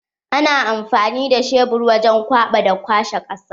Ana amfani da shebur wajen kwaɓa da kwashe ƙasa.